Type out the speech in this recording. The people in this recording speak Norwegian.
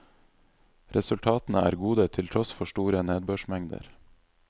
Resultatene er gode til tross for store nedbørsmengder.